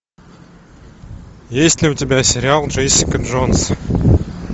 есть ли у тебя сериал джессика джонс